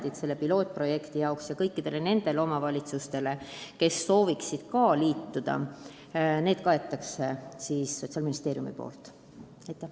On selge, et pilootprojektiga seotud omavalitsustele ja kõikidele teistele, kes soovivad ka liituda, Sotsiaalministeerium lisaraha eraldab.